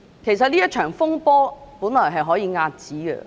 其實，這場風波原本可以遏止。